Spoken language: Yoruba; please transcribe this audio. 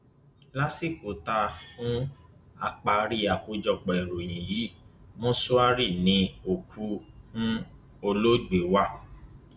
lásìkò tá um a parí àkójọpọ ìròyìn yìí mọṣúárì ni òkú um olóògbé wà